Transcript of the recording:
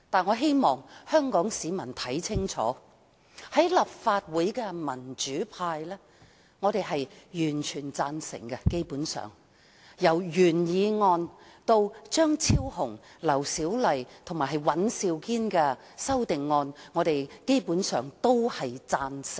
我希望香港市民看清楚，立法會民主派議員基本上全部贊成議案，包括原議案及張超雄議員、劉小麗議員及尹兆堅議員提出的修正案。